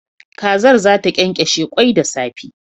Kazar zata kyankyashe kwai da safe